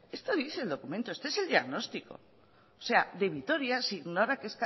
esto dice el documento este es el diagnóstico o sea de vitoria se ignora que es